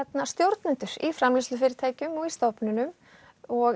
stjórnendur í framleiðslufyrirtækjunum stofnunum og